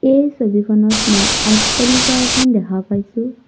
এই ছবিখনত মই অট্টালিকা এখন দেখা পাইছোঁ।